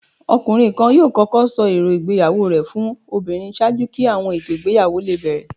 Ọkunrin kan yọọ kọkọ sọ eró ìgbéyàwó rẹ fún obírín ṣaaju ki awọn eto igbeyawo le bẹrẹ.